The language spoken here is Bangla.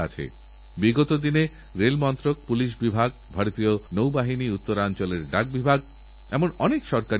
আর এজন্যই নতুনপ্রজন্ম বিজ্ঞানের প্রতি প্রযুক্তির উন্নয়নের জন্য গবেষণা ও আবিষ্কারের প্রতিযাতে আকৃষ্ট হয় সেজন্য সরকার অনেক ব্যবস্থা নিয়েছে